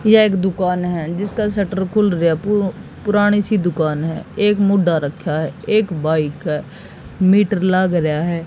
यह एक दुकान है जिसका शटर खुल रया है पु पुरानी सी दुकान है एक मुढ्ढा रखा है एक बाइक है मीटर लाग रहा है।